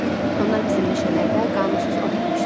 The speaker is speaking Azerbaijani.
Onlar bizim meşələrdə qanunsuz ov eləmişdilər.